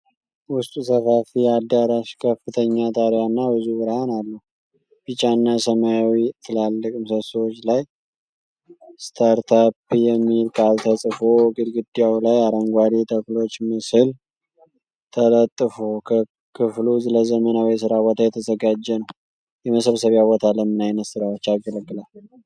ውስጡ ሰፋፊ አዳራሽ፣ ከፍተኛ ጣሪያና ብዙ ብርሃን አለው። ቢጫና ሰማያዊ ትላልቅ ምሰሶዎች ላይ "ስታርተፕ" የሚል ቃል ተጽፎ። ግድግዳው ላይ የአረንጓዴ ተክሎች ምስል ተለጥፎ። ክፍሉ ለዘመናዊ የሥራ ቦታ የተዘጋጀ ነው። የመሰብሰቢያ ቦታ ለምን አይነት ስራዎች ያገለግላል?